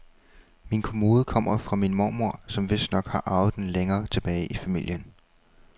Min kommode kommer fra min mormor, som vistnok har arvet den længere tilbage i familien.